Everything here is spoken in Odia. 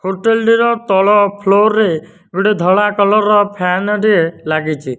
ହୋଟେଲ୍ ର ତଳ ଫ୍ଲୋର ରେ ଗୋଟେ ଧଳା କଲର୍ ର ଫ୍ୟାନ ଟିଏ ଲାଗିଚି।